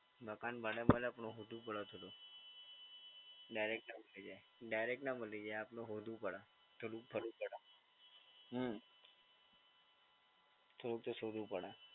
મકાન ભાડે મળે પણ મોંઘું પડે થોડું. ડાયરેક્ટ નાં મળી જાય. ડાયરેક્ટ નાં મળી જાય આપણે શોધવું પડે. થોડું ફરવું પડે. હમ્મ. થોડુંક તો શોધવું પડે.